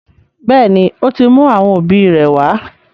béèni, ó ti mú àwọn òbí rẹ̀ wá.